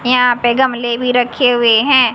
यहां पे गमले भी रखे हुए हैं।